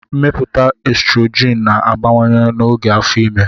Mmepụta estrogin na-abawanye n'oge afọ ime.